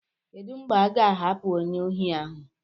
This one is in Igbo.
Kedu mgbe a ga-ahapụ onye ohi ahu?